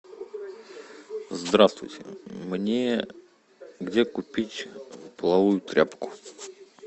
здравствуйте мне где купить половую тряпку